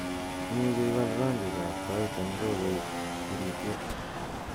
imuche iwal rangik ab tait en ko koig urityet